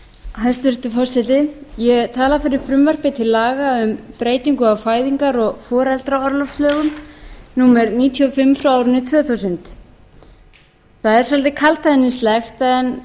ég tala fyrir frumvarpi til laga um breytingu á fæðingar og foreldraorlofslögum númer níutíu og fimm tvö þúsund það er svolítið kaldhæðnislegt en